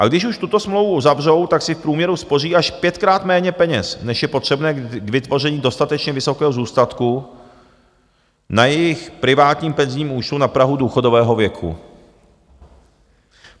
A když už tuto smlouvu uzavřou, tak si v průměru spoří až pětkrát méně peněz, než je potřebné k vytvoření dostatečně vysokého zůstatku na jejich privátním penzijním účtu na prahu důchodového věku.